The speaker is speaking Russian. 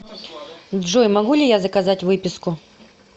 джой могу ли я заказать выписку